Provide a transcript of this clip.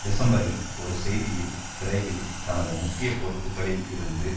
டிசம்பரில் ஒரு செய்தியில் விரைவில் தனது முக்கிய பொறுப்புகளில் இருந்து